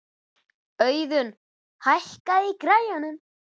Auðun, hækkaðu í græjunum.